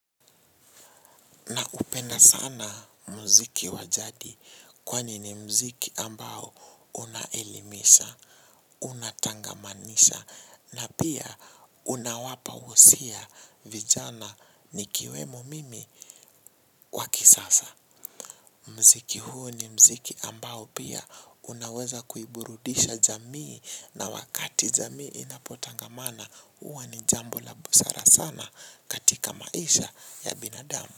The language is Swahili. Na upenda sana muziki wa jadi kwani ni muziki ambao unaelimisha, unatangamanisha na pia unawapa wosia vijana nikiwemo mimi kwa kisasa. Muziki huu ni muziki ambao pia unaweza kuiburudisha jamii na wakati jamii inapotangamana huwa ni jambo la busara sana katika maisha ya binadamu.